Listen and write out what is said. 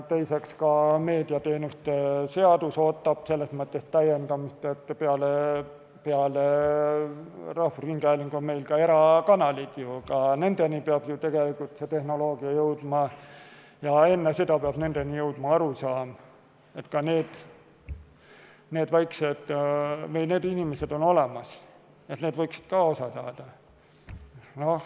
Teiseks, ka meediateenuste seadus ootab selles mõttes täiendamist, et peale rahvusringhäälingu on ka erakanalid, ka nendeni peab see tehnoloogia jõudma ja enne seda peab nendeni jõudma arusaam, et ka need inimesed on olemas ja nad võiksid kõigest osa saada.